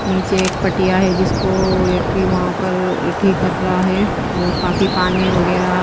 नीचे एक पटिया है जिसको व्यक्ति वहां पर ठीक कर रहा है और काफी पानी वगैरह --